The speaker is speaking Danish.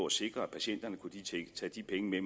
at sikre at patienterne kunne tage de penge med